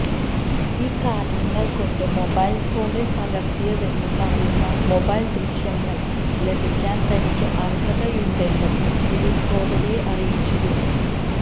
ഈ കാരണങ്ങള് കൊണ്ട് മൊബൈൽ ഫോണിൽ പകര്ത്തിയതെന്ന് പറയുന്ന മൊബൈൽ ദൃശ്യങ്ങള് ലഭിക്കാൻ തനിക്ക് അര്ഹതയുണ്ടെന്നും ദിലീപ് കോടതിയെ അറിയിച്ചിരുന്നു